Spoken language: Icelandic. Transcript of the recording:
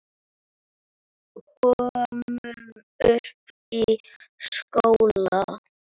Komum upp í skóla!